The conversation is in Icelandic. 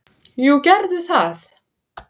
"""Jú, gerðu það!"""